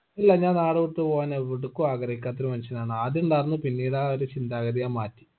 ഇല്ല ഞാൻ നാട് വിട്ട് പോകാം എവടക്കും ആഗ്രഹിക്കാത്ത ഒരു മനുഷ്യനാണ് ആദ്യ ഇണ്ടാർന്നു പിന്നീട് ആ ഒരു ചിന്താഗതി ഞാൻ മാറ്റി